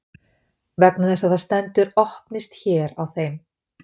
Vegna þess að það stendur Opnist hér á þeim.